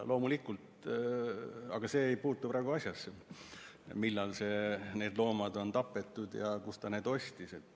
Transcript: Aga see ei puutu praegu asjasse, millal need loomad on tapetud ja kust ta selle kasuka ostis.